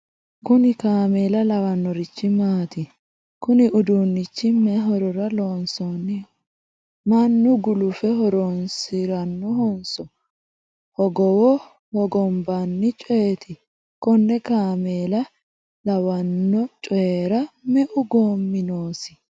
kuni kaameela lawannorichi maati? kuni uduunnichi mayi horora loonsoonniho? mannu gulufe harannohonso hogowo hogombanni coyeeti? konne kaameela lawanno coyiira me'u goommi noosi?